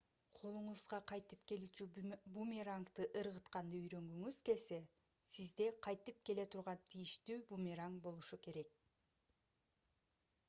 колуңузга кайтып келүүчү бумерангды ыргытканды үйрөнгүңүз келсе сизде кайтып келе турган тийиштүү бумеранг болушу керек